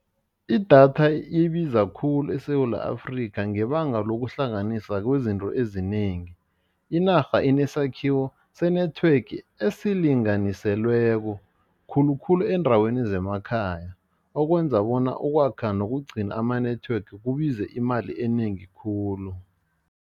Idatha ibiza khulu eSewula Afrika ngebanga lokuhlanganisa kwezinto ezinengi, inarha inesakhiwo se-network esinganiselweko khulukhulu eendaweni zemakhaya okwenza bona ukwakha nokugcina ama-network kubize imali enengi khulu.